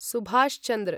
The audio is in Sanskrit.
सुभाष् चन्द्र